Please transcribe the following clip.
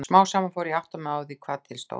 Smám saman fór ég að átta mig á því hvað til stóð.